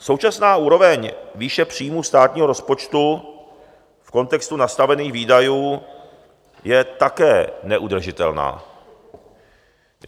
Současná úroveň výše příjmů státního rozpočtu v kontextu nastavených výdajů je také neudržitelná.